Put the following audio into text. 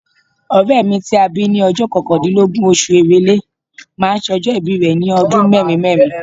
Ọ̀rẹ́ mi ti a bí ní ọjọ́ kọkàndínlọ́gbọ̀n oṣù Èrèlè máa sọjọ́ ìbí rẹ̀ ní ọdún mẹ́rin mẹ́rin.